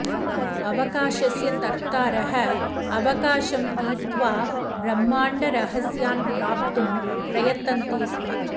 अवकाशस्य तर्तारः अवकाशं तीर्त्वा ब्रह्माण्डरहस्यान् प्राप्तुं प्रयतन्ते स्म